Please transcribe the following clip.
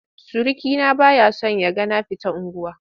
Surukina ba ya son ya ga na fita unguwa.